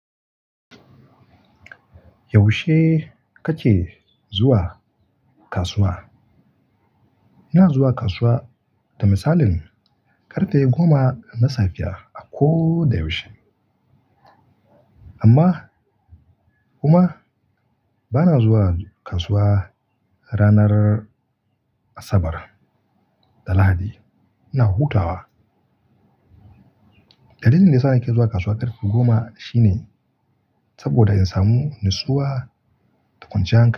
Yaushe kake zuwa kasuwa? Ina zuwa kasuwa, da misalin ƙarfe goma na safiya a ko da yaushe. Amma kuma bana zuwa kasuwa ranar Asabar da Lahadi. Ina hutawa. Dalilin da ya sa nake zuwa kasuwa ƙarfe goma shine saboda in samu nusuwa da kwanciyan hankali.